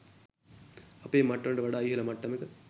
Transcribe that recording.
අපේ මට්ටමට වඩා ඉහල මට්ටමක